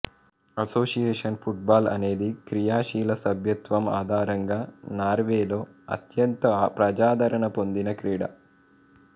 association football అనేది క్రియాశీల సభ్యత్వం ఆధారంగా నార్వేలో అత్యంత ప్రజాదరణ పొందిన క్రీడ